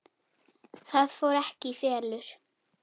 Það fór ekki í felur.